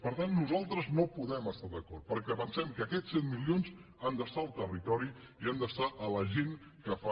per tant nosaltres no hi podem estar d’acord perquè pensem que aquests set milions han d’estar al territori i han d’anar a la gent que fa